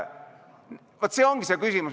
Vaat see ongi see küsimus.